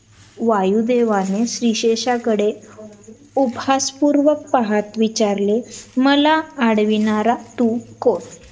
वायुदेवाने स्लीशेषकडे उपहास पूर्वक पाहात विचारले मला अडविणारा तू कोण?